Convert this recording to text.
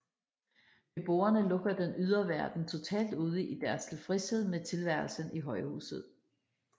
Beboerne lukker den ydre verden totalt ude i deres tilfredshed med tilværelsen i højhuset